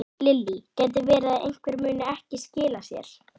Lillý: Gæti verið að einhver muni ekki skila sér?